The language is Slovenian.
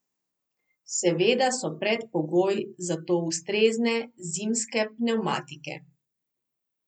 Seveda so predpogoj za to ustrezne zimske pnevmatike.